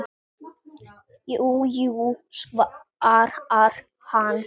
Jú, jú, svarar hann.